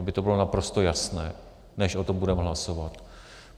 Aby to bylo naprosto jasné, než o tom budeme hlasovat.